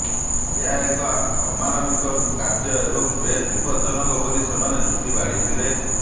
ଏହା ଏକ ଅମାନବିକ କାର୍ଯ୍ୟ ଏବଂ ବେଶ୍ ବିପଜ୍ଜଜନକ ବୋଲି ସେମାନେ ଯୁକ୍ତି ବାଢ଼ିଥିଲେ